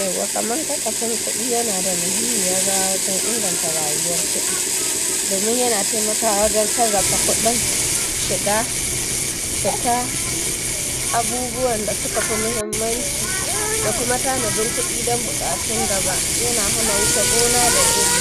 Yawwa kaman kasafin kuɗi yana da muhimmiyar rawa wajen inganta rayuwar kuɗi. Domin yana taimakawa wajen sarrafa kudin shiga da ta abubuwan da suka fi muhimmanci da kuma tanadin kuɗi don bukatu da ba yana hana wuce gona da iri.